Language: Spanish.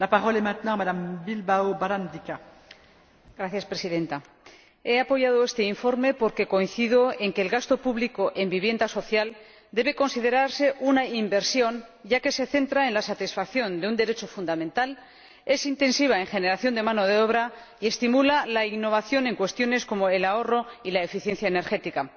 Señora Presidenta, he apoyado este informe porque coincido en que el gasto público en vivienda social debe considerarse una inversión ya que se centra en la satisfacción de un derecho fundamental, es intensivo en generación de mano de obra y estimula la innovación en cuestiones como el ahorro y la eficiencia energética.